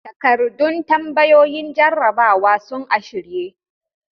Takardun tambayoyin jarrabawa sun a shirye.